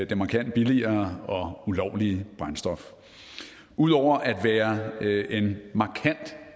det markant billigere og ulovlige brændstof ud over at være en markant